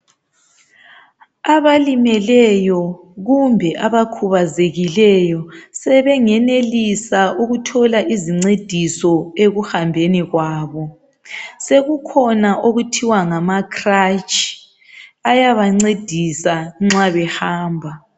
Abalimeleyo kumbe abakhubazekileyo sebengenelisa ukuthola izincediso ekuhambeni kwabo. Sekukhona okuthiwa ngama cratshi ayabancedisa nxa behamba.